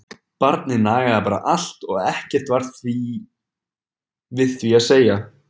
Barnið nagaði bara allt og ekkert var við því að segja!